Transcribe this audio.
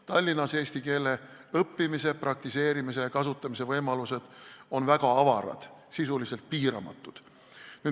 Tallinnas on eesti keele õppimise, praktiseerimise ja kasutamise võimalused väga avarad, sisuliselt piiramatud.